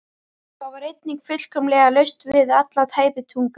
Það var einnig fullkomlega laust við alla tæpitungu.